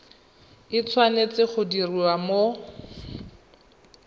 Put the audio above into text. e tshwanetse go diriwa mo